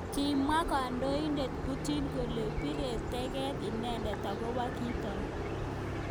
Kimwa kandoindet Putin kole bire teget inendet akobo kitok.